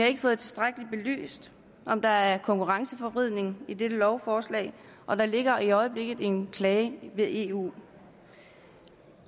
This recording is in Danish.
ikke fået tilstrækkeligt belyst om der er konkurrenceforvridning i dette lovforslag og der ligger i øjeblikket en klage ved eu